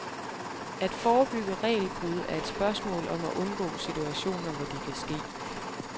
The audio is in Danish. At forebygge regelbrud er et spørgsmål om at undgå situationer, hvor de kan ske.